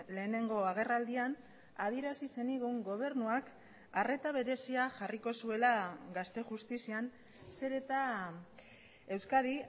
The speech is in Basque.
lehenengo agerraldian adierazi zenigun gobernuak arreta berezia jarriko zuela gazte justizian zer eta euskadi